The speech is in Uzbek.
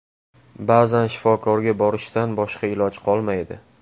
Ba’zan shifokorga borishdan boshqa iloj qolmaydi.